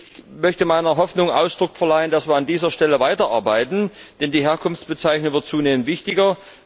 Ich möchte meiner Hoffnung Ausdruck verleihen, dass wir an dieser Stelle weiterarbeiten, denn die Herkunftsbezeichnung wird zunehmend wichtiger.